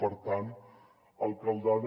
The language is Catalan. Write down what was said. per tant alcaldada